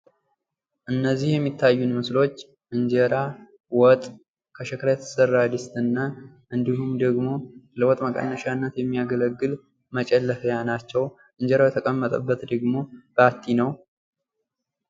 ምግብ ማህበራዊ መስተጋብርን የሚያጠናክርበት አጋጣሚ ሲሆን ሰዎች በጋራ በመመገብ ትስስራቸውን ያሳድጋሉ።